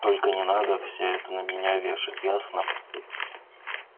только не надо всё это на меня вешать ясно